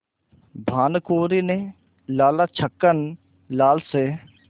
भानकुँवरि ने लाला छक्कन लाल से